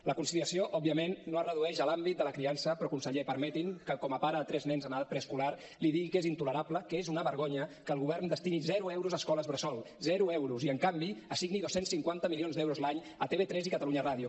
la conciliació òbviament no es redueix a l’àmbit de la criança però conseller permeti’m que com a pare de tres nens en edat preescolar li digui que és intolerable que és una vergonya que el govern destini zero euros a escoles bressol zero euros i en canvi assigni dos cents i cinquanta milions d’euros l’any a tv3 i catalunya ràdio